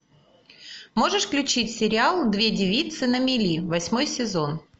можешь включить сериал две девицы на мели восьмой сезон